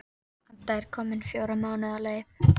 Edda er komin fjóra mánuði á leið.